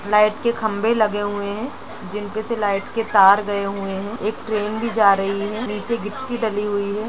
Light के खंबे लगे हुए है जिन पे से लाइट के तार गए हुए हैं | एक ट्रेन भी जा रही है | नीचे गिट्टी डली हुई है ।